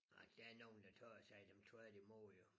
Nej der nogen der tager sig af dem tvært i mod jo